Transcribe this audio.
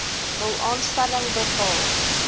hul aanstelling bepaal